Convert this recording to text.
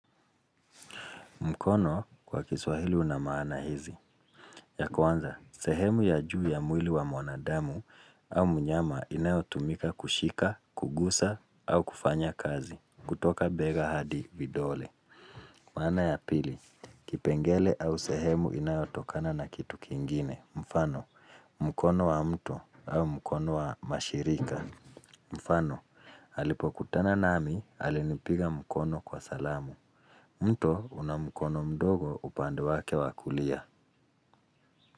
Mkono kwa kiswahili una maana hizi. Ya kwanza, sehemu ya juu ya mwili wa mwanadamu au mnyama inayotumika kushika, kugusa au kufanya kazi. Kutoka bega hadi vidole. Maana ya pili, kipengele au sehemu inayotokana na kitu kingine. Mfano, mkono wa mtu au mkono wa mashirika. Mfano, alipokutana nami, alinipiga mkono kwa salamu. Mto una mkono mdogo upande wake wa kulia.